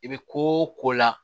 I bɛ ko o ko la